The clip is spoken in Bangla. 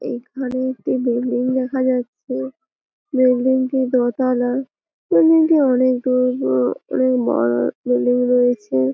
এখানে একটি বিল্ডিং দেখা যাচ্ছে। বিল্ডিং টি দোতালা বিল্ডিং টি অনেক দূর পুরো অনেক বড়ো বিল্ডিং রয়েছে--